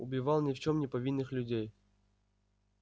убивал ни в чём не повинных людей